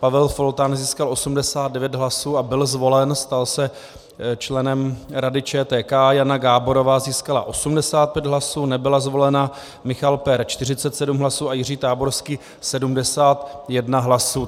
Pavel Foltán získal 89 hlasů a byl zvolen, stal se členem Rady ČTK, Jana Gáborová získala 85 hlasů, nebyla zvolena, Michal Pehr 47 hlasů a Jiří Táborský 71 hlasů.